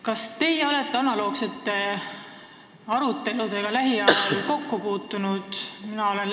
Kas teie olete analoogsete aruteludega lähiajal kokku puutunud?